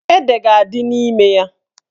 Ede ga-adị n'ime ya.